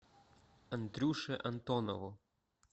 андрюше антонову